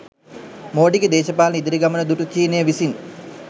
මෝඩිගේ දේශපාලන ඉදිරි ගමන දුටු චීනය විසින්